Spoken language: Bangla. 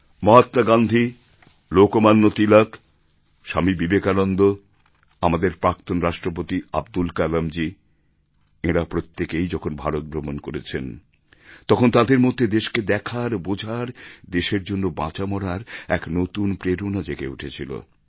মহাত্মা গান্ধী লোকমান্য তিলক স্বামী বিবেকানন্দ আমাদের প্রাক্তন রাষ্ট্রপতি আব্দুল কালামজী এঁরা প্রত্যেকেই যখন ভারত ভ্রমণ করেছেন তখন তাঁদের মধ্যে দেশকে দেখার বোঝার দেশের জন্য বাঁচা মরার এক নতুন প্রেরণা জেগে উঠেছিল